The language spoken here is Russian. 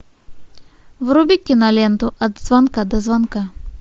вруби киноленту от звонка до звонка